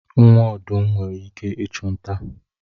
Nwa ọdụm nwere ike ịchụ nta.